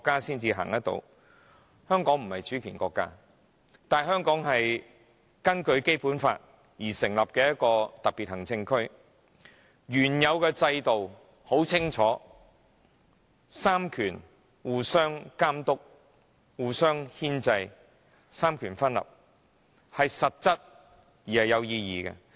然而，我必須指出，香港雖不是主權國家，但卻是根據《基本法》而成立的一個特別行政區；原有的制度很清楚，就是三權互相監督、牽制，三權分立是實質而有意義的。